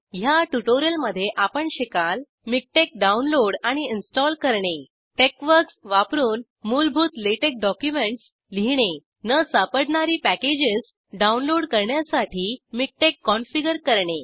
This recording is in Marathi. ह्या ट्युटोरिअलमध्ये आपण शिकाल मिकटेक्स डाऊनलोड आणि इंस्टॉल करणे टेक्सवर्क्स वापरून मूलभूत लॅटेक्स डॉक्युमेंट्स लिहिणे न सापडणारी पॅकेजेस डाऊनलोड करण्यासाठी मिकटेक्स कॉन्फिगर करणे